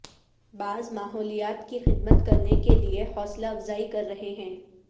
بعض ماحولیات کی خدمت کرنے کے لئے حوصلہ افزائی کر رہے ہیں